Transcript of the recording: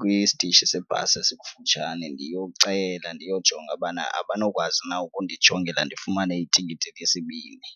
kwistishi sebhasi esikufutshane ndiyocela ndiyojonga ubana abanokwazi na ukundijongela ndifumane itikiti lesibini.